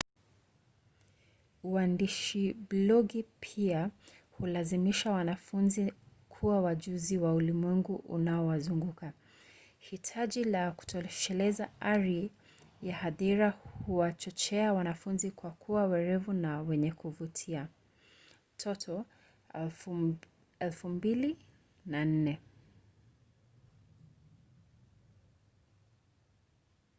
uandishi blogi pia hulazimisha wanafunzi kuwa wajuzi wa ulimwengu unaowazunguka. hitaji la kutosheleza ari ya hadhira huwachochea wanafunzi kuwa werevu na wenye kuvutia toto 2004